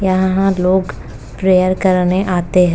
यह लोग प्रेयर करने आते हैं।